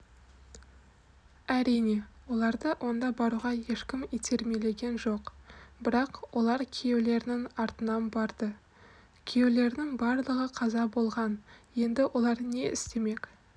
әрине оларды онда баруға ешкім итермелеген жоқ бірақ олар күйеулерінің артынан барды күйеулерінің барлығы қаза болған енді олар не істемек